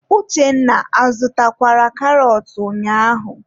Uchenna a zụtakwara karọt ụnyaahụ?